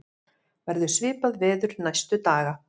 verður svipað veður næstu daga